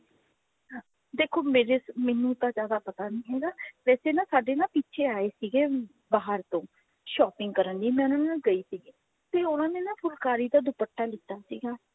ਦੇਖੋ ਮੇਰੇ ਮੈਨੂੰ ਤਾਂ ਜਿਆਦਾ ਪਤਾ ਨਹੀਂ ਹੈਗਾ ਵੈਸੇ ਨਾ ਸਾਡੇ ਨਾ ਪਿੱਛੇ ਆਏ ਸੀਗੇ ਬਾਹਰ ਤੋਂ shopping ਕਰਨ ਲਈ ਮੈਂ ਉਹਨਾਂ ਨਾਲ ਗਈ ਸੀਗੀ ਤੇ ਉਹਨਾਂ ਨੇ ਨਾ ਫੁਲਕਾਰੀ ਦਾ ਦੁਪੱਟਾ ਲੀਤਾ ਸੀਗਾ